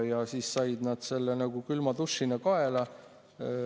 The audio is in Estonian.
Nad said selle külma dušina kaela.